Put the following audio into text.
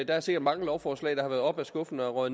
der er sikkert mange lovforslag der har været oppe af skuffen og